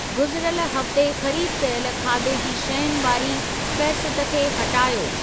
गुज़िरियल हफ़्ते ख़रीद कयल खाधे जी शयुनि वारी फ़ेहरिस्त खे हटायो।